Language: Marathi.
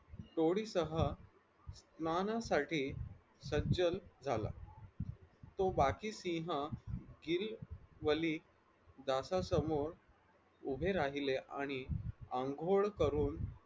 तोडीसह मानासाठी सज्जन झाला तो बाकी सिंह गिरी वली दारासमोर उभे राहिले आणि अंघोळ करून